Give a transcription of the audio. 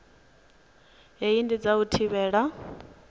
hei ndi dza u thivhela